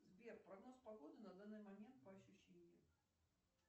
сбер прогноз погоды на данный момент по ощущениям